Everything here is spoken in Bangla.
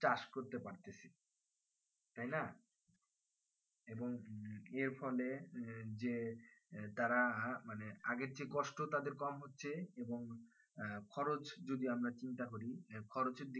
চাষ করতে পারতেছি তাইনা এবং এর ফলে উম যে তারা যে মানে আগের থেকে কষ্ট তাদের কম হচ্ছে এবং খরচ যদি চিন্তা করি খরচের দিকে